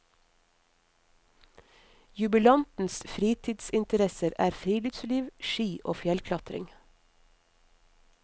Jubilantens fritidsinteresser er friluftsliv, ski og fjellklatring.